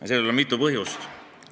Ja sellel on mitu põhjust.